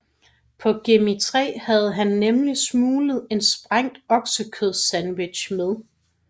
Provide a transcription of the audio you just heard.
På Gemini 3 havde han nemlig smuglet en sprængt oksekødssandwich med